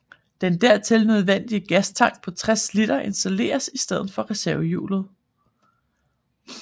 Den dertil nødvendige gastank på 60 liter installeredes i stedet for reservehjulet